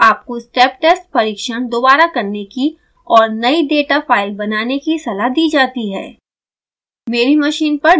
यदि नहीं तो आपको step test परिक्षण दोबारा करने की और नयी डेटा फाइल बनाने की सलाह दी जाती है